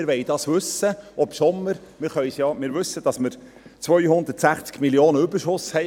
Wir wollen dies wissen, auch wenn uns bekannt ist, dass wir 260 Mio. Franken Überschuss haben.